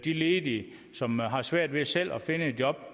de ledige som har svært ved selv at finde et job